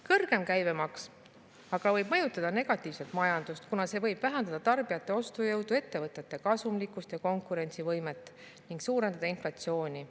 Kõrgem käibemaks aga võib mõjutada negatiivselt majandust, kuna see võib vähendada tarbijate ostujõudu, ettevõtete kasumlikkust ja konkurentsivõimet ning suurendada inflatsiooni.